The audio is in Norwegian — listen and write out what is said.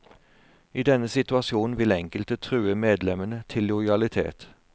I denne situasjonen vil enkelte true medlemmene til lojalitet.